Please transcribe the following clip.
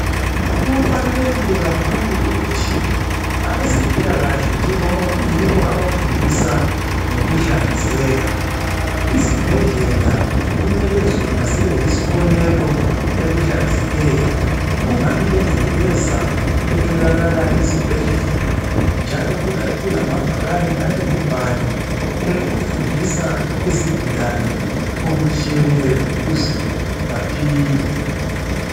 Kubalulekile kakhulu ukuthi abezempilakahle njengoba kuyibo abafundisa ngokuhlanzeka izibhedlela kumele zona zibe yisibonelo ekuhlanzekeni. Kungabi lengcekeza etholakala ezibhedlela njalo kulamabhakane alemibhalo efundisa izigulane okutshiyeneyo ukuze baphile.